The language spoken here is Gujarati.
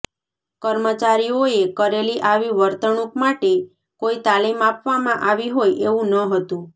કર્મચારીઓએ કરેલી આવી વર્તણૂંક માટે કોઈ તાલીમ આપવામાં આવી હોય એવું ન હતું